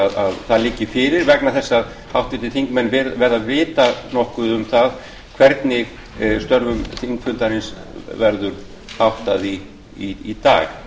að það liggi fyrir vegna þess að háttvirtir þingmenn verða að vita nokkuð um það hvernig störfum þingfundarins verður háttað í dag